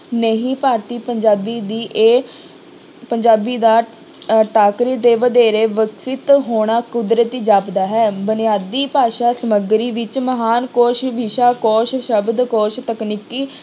ਨਹੀਂ ਭਾਰਤੀ ਪੰਜਾਬੀ ਦੀ ਇਹ ਪੰਜਾਬੀ ਦਾ ਅਹ ਦੇ ਵਧੇਰੇ ਵਿਕਸਿਤ ਹੋਣਾ ਕੁਦਰਤੀ ਜਾਪਦਾ ਹੈ, ਬੁਨਿਆਦੀ ਭਾਸ਼ਾ ਸਮੱਗਰੀ ਵਿੱਚ ਮਹਾਨ ਕੋਸ਼, ਵਿਸ਼ਾ ਕੋਸ਼, ਸ਼ਬਦ ਕੋਸ਼, ਤਕਨੀਕੀ